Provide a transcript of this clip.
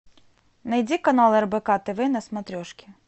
найди канал рбк тв на смотрешке